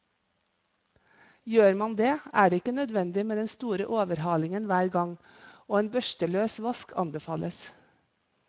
Gjør man det, er det ikke nødvendig med den store overhalingen hver gang, og en børsteløs vask anbefales.